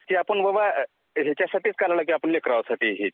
ती आपण आपल्या लेकरांसाठीच काढली आहे